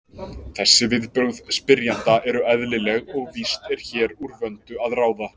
Þessi viðbrögð spyrjanda eru eðlileg og víst er hér úr vöndu að ráða.